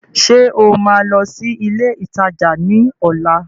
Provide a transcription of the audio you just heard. Ṣé o máa lọ sí ilé ìtajà ní ọ̀la?